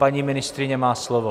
Paní ministryně má slovo.